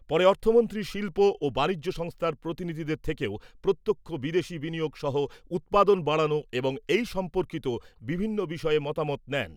পরে অর্থমন্ত্রী শিল্প ও বাণিজ্য সংস্থার প্রতিনিধিদের থেকেও প্রত্যক্ষ বিদেশী বিনিয়োগ সহ উৎপাদন বাড়ানো এবং এই সম্পর্কিত বিভিন্ন বিষয়ে মতামত নেন।